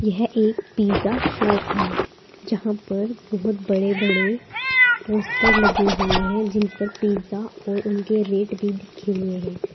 यह एक pizza shop है जहां पर बहुत बड़े बड़े पोस्टर लगे हुए हैं जिन पर पिज्जा और उनके रेट भी लिखे हुए हैं।